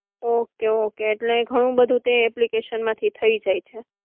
Okay okay એટલે ઘણું બધું તે એપ્લિકેશન માંથી થઈ જાય છે.